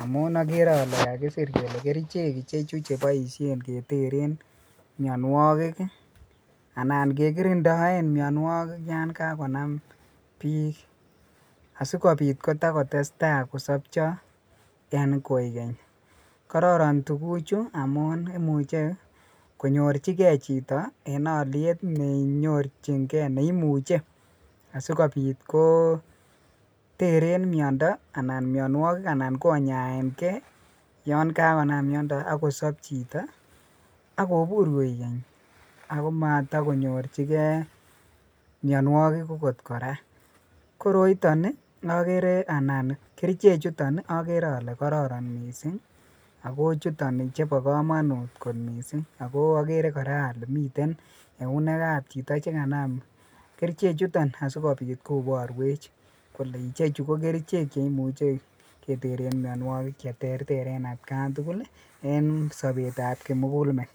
amyb okere ole kakusir jess kerichek ichechu chekiboishen ketere minuokik ii , anan kekirindoen mionuokik yon kakonam bik asikobit kotakotestaa kosobcho en koikeny, kororii tuguchu amun imuche kooljikee bik en oliet nenyorjingee neimuche, asikobit koteren miondo anan minuokik anan konyaekee yon kakonam miondo ak kosob chito , ak kobur koikeny akomotokonyorjikee minuokik okot koraa koroiton okere anan kerichechuton ii okere ole kororon missing' akochuton chebo komonut kot missing' o okere koraa ole miten eunekab chito nekanam kerichechuton asikobit koboruech kole ichechu kokerichek cheimuche keteren mionuokik cheterter en atkan tugul ii en sobetab kimugulmet.